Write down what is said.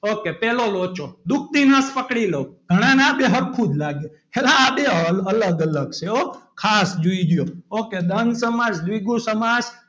okay પહેલો લોચો દુખતી નસ પકડી લો ઘણાને આ બે હરખું જ લાગે અલા આ બે અલગ અલગ છે હો ખાસ જોજો કે દ્વંદ સમાસ દ્વિગુ સમાસ,